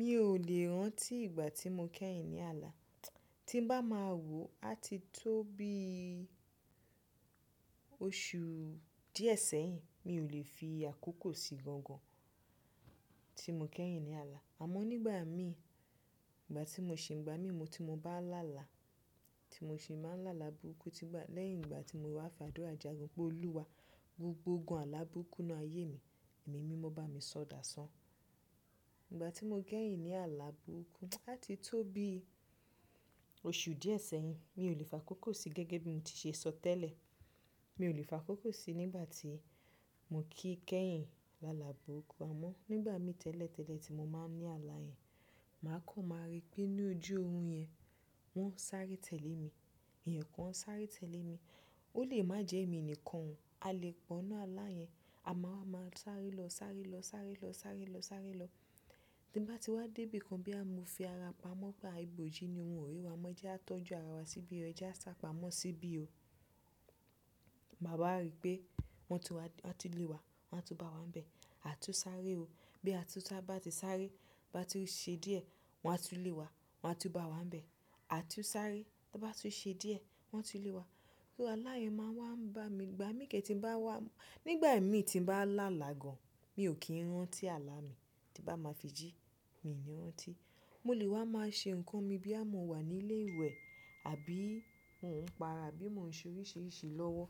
Mi ò lè rántí ìgbà tí mo kẹ́yìn ní àlà. Tí n bá máa wò, á ti tó bí oṣù díẹ̀ sẹ́yìn. Mi ò lè fi àkókò sí gangan tí mo kẹ́yìn ní àlà. Àmọ́ nígbà mí, ìgbà tí mo ṣì ń ìgbà mí mo tí mo bá láàlà, tí mo ṣì máa ń láàlà burúkú lẹ́yìn ìgbà tí mo wá fàdúrà jagun pé Olúwa, gbogbo ogun àlà burúkú n nu àyé mi, ẹ̀mí mimo bá mi ṣọ̀ dáṣán. Ìgbà tí mo kẹ́yìn ní àlà burúkú, á ti tó bí oṣù díẹ̀ sẹ́yìn. Mi ò lè fa kókó sí gẹ́gẹ́ bí mo ti ṣe sọ tẹ́lẹ̀. Mi ò lè fa kókó sí nígbà tí mo kí kẹ́yìn lálà burúkú. Àmọ́ nígbà mi tẹ́lẹ̀ tẹ́lẹ̀ tí mo máa ń ní àlà yẹn, màá kàn máa rí pé ní ojú orun yẹn, wọ́n ń sáré tẹ̀lé mi. Èèyàn kan ń sáré tẹ̀lé mi. Ó lè má jẹ́ èmi nìkan o. A lè pọ́ n nu àlà yẹn. A má wa máa sáré lọ sáré lọ sáré lọ sáré lọ sáré lọ. Tí n bá ti wá dé ibì kan bóyá mo fi ara pamọ́ pe a ìbòjú ni o wọ́n ó rí wa mọ́ je á tọ́jú ara wa síbi ẹ̀ je á sapamo síbi o. Bà a bá wa rí pé wọ́n ti lé wa, wọ́n á tún bá wa ń bẹ. A tú n sáré o. Bí a tún sa bá ti sáré, bá tún ṣe díẹ̀, wọ́n á tú lé wa, wọ́n á tú bá wa ń bẹ. A tú n sáré. Tí ó bá tún ṣe díẹ̀, wọ́n á tú lé wa. So àlà yẹn máa ń wá ń bá mi gba. Ìgbà mi kẹ́ tí ń bá wá, nígbà mi tí ń bá láàlà gan, mi ò kí ń rántí àlà mi. Tí bá máa fi jí, mi ò ní rántí. Mo lè wá máa ṣe nǹkan mi bóyá mo wà ní ilé ìwẹ̀ àbí mò ń para, àbí mò ń ṣe oríṣiríṣi lọ́wọ́.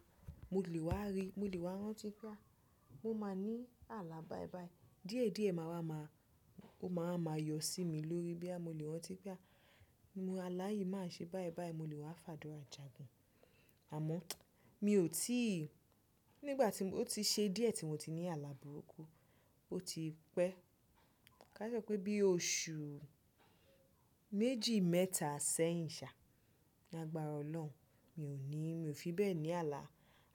Mo lè wá rí, mo lè wá rántí pé a, mo máa ní àlà báìbàì. Díẹ̀díẹ̀ máa wá máa, ó máa wá máa yọ sí mi lórí bóyá mo lè rántí pé a, àlà yìí máa ṣe báìbàì, mo lè wá fàdúrà jagun. Àmọ́ mi ò tí, nígbà tí mo ó ti ṣe díẹ̀ tí mo ti ní àlà burúkú, ó ti pẹ́. Ka sọ pé bí oṣù méjì mẹ́ta sẹ́yìn ṣá, lágbára Ọlọ́run, mi ò ní, mi ò fi bẹ́ẹ̀ ní àlà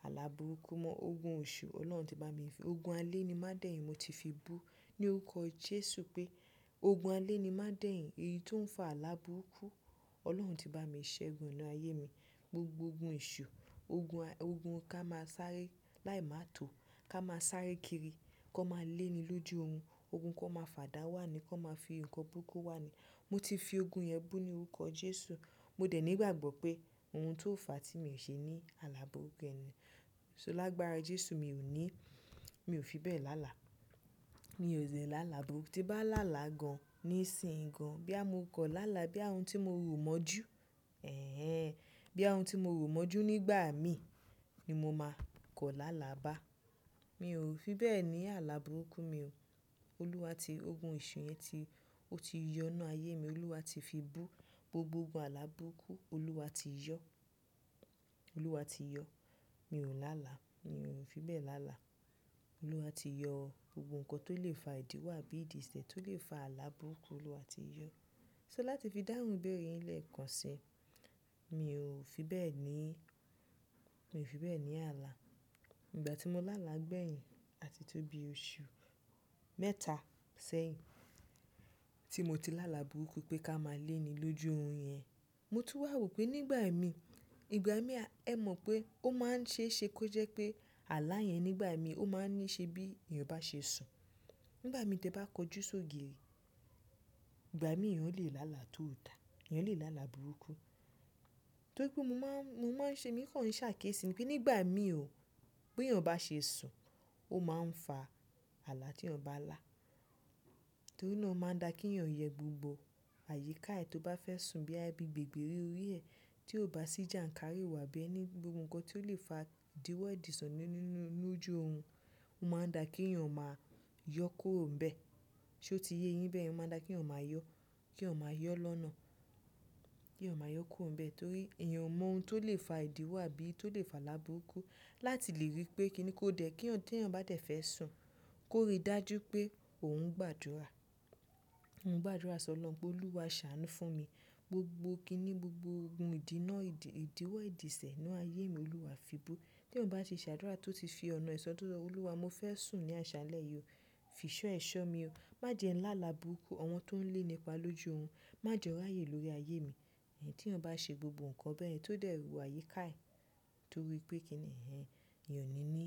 àlà burúkú mọ. Ogun oṣù Ọlọ́run ti bá mi fi, ogun alẹ́ ni má dẹ́yìn mo ti fi bú ní orúkọ Jésù pé ogun alẹ́ ni má dẹ́yìn èyí tó ń fa àlà burúkú. Ọlọ́run ti bá mi ṣẹ́gun e n'nu ayé mi. Gbogbo ogun eṣù, ogun ká máa sáré, láì máa tó, ká máa sáré kiri, kan máa lé ni lójú orun. Ogun kan máa fàdá wà ní, kan máa fi nǹkan burúkú wà ní. Mo ti fi ogun yẹn bú ní orúkọ Jésù. Mo dẹ̀ nígbàgbọ́ pé ohun tó ò fà tí mi ò ṣe ní àlà burúkú yẹn mo. So lágbára Jésù mi ò ní, mi ò fi bẹ́ẹ̀ lálà. Mi ò lè lálà burúkú. Tí n bá lálà gan ní ìsìnyi gan, bóyá mo kan lálà, bóyá ohun tí mo rò mọ́jú, ẹ̀ ẹ, bóyá ohun tí mo rò mọ́jú nígbà mi ni mo máa kan lálà bá. Mi ò fi bẹ́ẹ̀ ní àlà burúkú mi o. Olúwa ti ogun eṣù yẹn ti, ó ti yọ n'nú ayé mi. Olúwa ti fi bú gbogbo ogun àlàburúkú. Olúwa ti yọ. Olúwa ti yọ. Mi ò lálà. Mi ò fi bẹ́ẹ̀ lálà. Olúwa ti yọ gbogbo nǹkan tó lè fa ìdíwọ́ àbí ìdìsẹ̀ tó lè fa àlà burúkú Olúwa ti yọ. So láti fi dáhùn béèrè yín lẹ́ẹ̀kan kan sí i, mi ò fi bẹ́ẹ̀ ní, mi ò fi bẹ́ẹ̀ ní àlà. Ìgbà tí mo lálà gbẹ̀yìn, á ti tó bí oṣù mẹ́ta sẹ́yìn tí mo ti lálà burúkú pé ká máa lé ni lójú orun yẹn. Mo tún wá wò pé nígbà mi, ìgbà mí a, ẹ mọ̀ pé ó máa ń ṣe é ṣe kó jẹ́ pé àlà yẹn nígbà mi ó máa ń ní ṣe bí èèyàn bá ṣe sùn. Nígbà mi tí ẹ bá kojú sóge, ìgbà mí èèyàn lè lálà tó ò dà. Èèyàn lè lálà burúkú. Torí pé mo máa ń mo máa ń ṣe èmi kan ń ṣ'à ákiésí ni wípé nígbà mi o, bí èèyàn bá ṣe sùn, ó máa ń fa àlà tí èèyàn bá lá. Torí náà ó máa ń da kí èèyàn yẹ gbogbo àyíká ẹ tó bá fẹ́ sùn bí i ẹ bí i gbègbèrí orí ẹ tí ó bá sì jàǹkáríwo àbí ẹ ní gbogbo nǹkan tí ó lè fa ìdíwọ́ ìdìso nínú lójú orun. Ó máa ń da kí èèyàn máa yọ kúrò ń bẹ. Ṣé o ti yé yín bẹ́yẹ̀n? Ó máa ń da kí èèyàn máa yọ, kí èèyàn máa yọ lọ́nà, kí èèyàn máa yọ kúrò ń bẹ torí èèyàn mọ ohun tó lè fa ìdíwọ́ àbí tó lè fa àlà burúkú láti lè rí pé kí ni kó dẹ̀ kí èèyàn té èèyàn bá dẹ̀ fẹ́ sùn, kó rí dájú pé òun gbàdúrà. Mo ń gbàdúrà s'Ọlọ́run pé Olúwa ṣàánú fún mi. Gbogbo kíni gbogbo ogun ìdínà, ìdíwọ́ ìdìsẹ̀ ní ayé mi Olúwa fi bú. Tí èèyàn bá ṣe ṣàdúrà tó ti fi ọ̀nà ìsọ̀ tọ̀ye, Olúwa mo fẹ́ sùn ní àṣálẹ́ yìí o. Fìṣọ́ ẹ̀ṣọ́ mi o. Má jẹ́ ńlá lálà burúkú. Àwọn tó ń léní pa lójú orun, má jẹ o ráyè lórí ayé mi. Ẹ̀yin tí èèyàn bá ṣe gbogbo nǹkan bẹ́yẹ̀n, tó dẹ̀ wo àyíká ẹ torí pé kí ni ẹ̀ ẹ́, èèyàn ò ní ní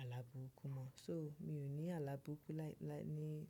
àlà burúkú mọ́. So mi ò ní àlà burúkú láì ní.